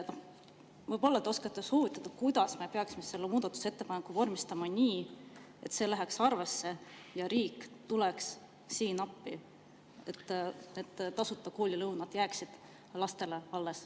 Võib-olla te oskate soovitada, kuidas me peaksime vormistama muudatusettepaneku nii, et see läheks arvesse ja riik tuleks appi, et tasuta koolilõunad jääksid lastele alles.